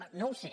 bé no ho sé